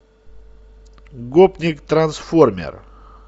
гопник трансформер